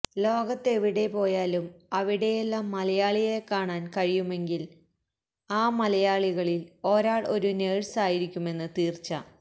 ലോകത്തെവിടെ പോയാലും അവിടെയെല്ലാം മലയാളിയെക്കാണാൻ കഴിയുമെങ്കിൽ ആ മലയാളികളിൽ ഒരാൾ ഒരു നേഴ്സ് ആയിരിക്കുമെന്ന് തീർച്ച